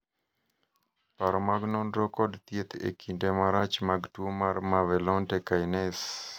paro mag nonro kod thieth e kinde marach mag tuo mar mevalonate kinase